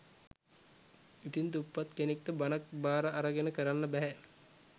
ඉතින් දුප්පත් කෙනෙක්ට බණක් බාර අරගෙන කරන්න බැහැ